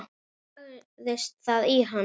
Hvernig lagðist það í hana?